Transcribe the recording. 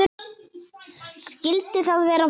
Skyldi það vera vatnið?